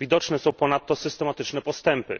Widoczne są ponadto systematyczne postępy.